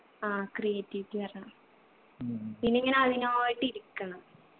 ആ creativity വരണം പിന്നെ ഇങ്ങന അതിനായിട്ടിരിക്കണം